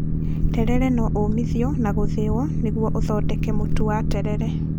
Terere no ũũmithio na gũthĩo nĩguo ũthondeke mũtu wa terere